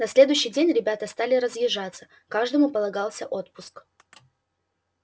на следующий день ребята стали разъезжаться каждому полагался отпуск